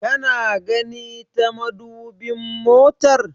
Kana gani ta madubin motar?